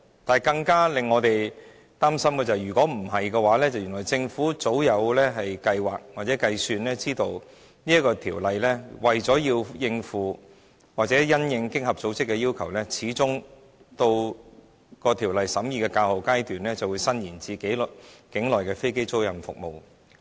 然而，更令我們擔心的是，如果不是這樣的話，而是原來政府早有計劃或計算，得知《條例草案》為了應付或因應經合組織的要求，在《條例草案》審議較後階段始終會將稅務寬減伸延至境內的飛機租賃服務。